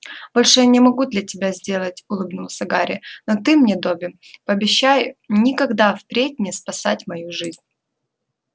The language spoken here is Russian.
большего я не мог для тебя сделать улыбнулся гарри но ты мне добби пообещай никогда впредь не спасать мою жизнь